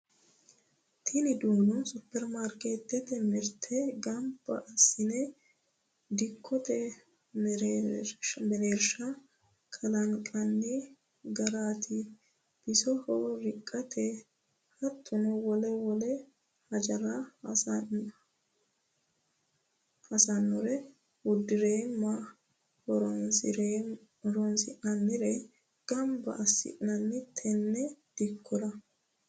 Tini duuno superimaarketete mirte gamba assine dikkote mereersha kalanqonni garati bisoho riqate hattono wole wole hajora hosanore buurima horonsi'nannire gamba assinoni tene dikkora.